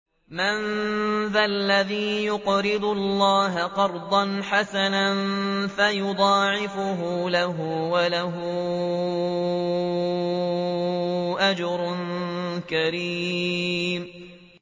مَّن ذَا الَّذِي يُقْرِضُ اللَّهَ قَرْضًا حَسَنًا فَيُضَاعِفَهُ لَهُ وَلَهُ أَجْرٌ كَرِيمٌ